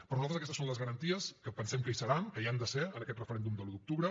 per nosaltres aquestes són les garanties que pensem que hi seran que hi han de ser en aquest referèndum de l’un d’octubre